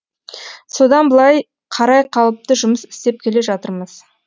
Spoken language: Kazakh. содан былай қарай қалыпты жұмыс істеп келе жатырмыз